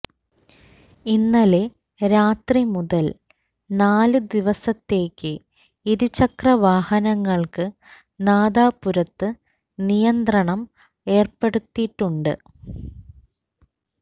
ഇന്നലെ രാത്രി മുതൽ നാല് ദിവസത്തേക്ക് ഇരുചക്ര വാഹനങ്ങൾക്ക് നാദാപുരത്ത് നിയന്ത്രണം ഏർപ്പെടുത്തിയിട്ടുണ്ട്